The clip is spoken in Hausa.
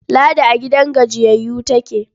Ladi a gidan gajiyayyu take.